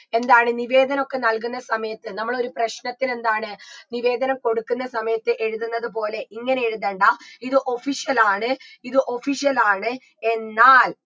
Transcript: എന്താണ് നിവേദനൊക്കെ നൽകുന്ന സമയത്ത് നമ്മളൊരു പ്രശ്നത്തിനെന്താണ് നിവേദനം കൊടുക്കുന്ന സമയത്ത് എഴുതുന്നത് പോലെ ഇങ്ങനെ എഴുതേണ്ട ഇത് official ആണ് ഇത് official ആണ് എന്നാൽ